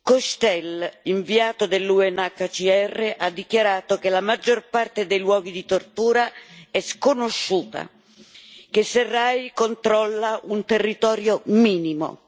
Cochetel, inviato dell'UNHCR, ha dichiarato che la maggior parte dei luoghi di tortura è sconosciuta, che Sarraj controlla un territorio minimo.